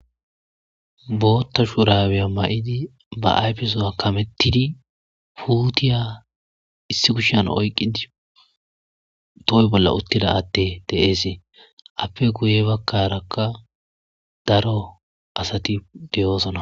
Bootha shurabe mayidi ba ayfesowa kametid puutiya issi kushan oyqid toho bolla utida adey de'es, appe guye bagaraka daro asati de'osona